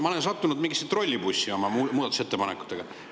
Ma olen sattunud mingisse trollibussi oma muudatusettepanekutega.